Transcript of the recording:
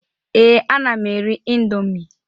Ee, ana m eri indọmii.